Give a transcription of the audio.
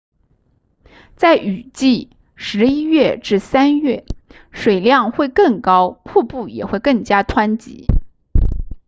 在雨季11月至3月水量会更高瀑布也更加湍急